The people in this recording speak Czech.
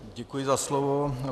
Děkuji za slovo.